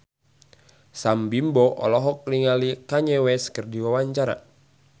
Sam Bimbo olohok ningali Kanye West keur diwawancara